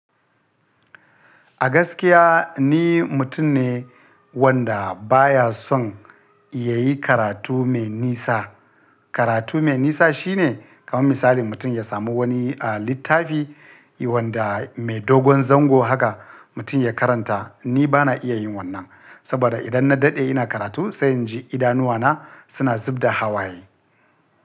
A gaskiya ni mutum ne wanda baya son ya yi karatu mai nisa. Karatu mai nisa shine kamar misali mutum ya samu wani a littafi wanda mai dogon zango haka mutum ya karanta. Ni bana iya yin wannan saboda idan na daɗe ina karatu sai in ji idanuwana suna zub da hawaye.